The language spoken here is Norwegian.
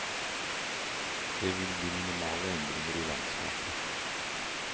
Det vil bli minimale endringer i landskapet.